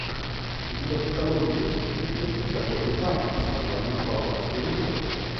у тебя в каталоге есть фильмик с дакотой фаннинг с названием балканский рубеж